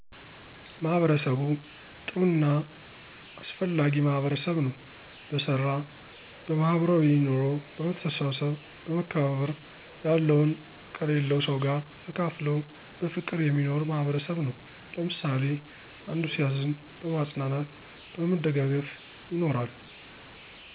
ማህበርሰቡ ጥሩ እና አሰፍላጊ ማህበርሰብ ነው በሰራ በማህበራዊይ ኖሮ በመሰተሰሰብ በመከባባር ያለውን ከሊለው ሰው ጋር ተካፍለው በፍቅር የሚኖር ማህበርሰብ ነው። ለምሳሊ አንዶ ሲዝን በማፅናናት በመደጋገፍ ይኖራሉ።